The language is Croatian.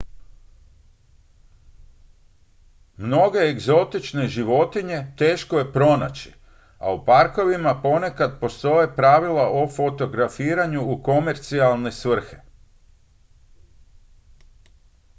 mnoge egzotične životinje teško je pronaći a u parkovima ponekad postoje pravila o fotografiranju u komercijalne svrhe